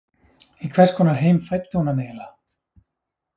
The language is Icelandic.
Í hvers konar heim fæddi hún hann eiginlega?